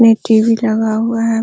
में टी.वी. लगा हुआ है।